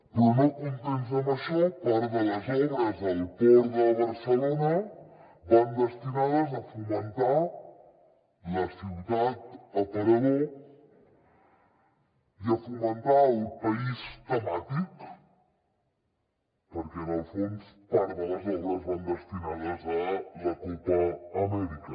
però no contents amb això part de les obres al port de barcelona van destinades a fomentar la ciutat aparador i a fomentar el país temàtic perquè en el fons part de les obres van destinades a la copa amèrica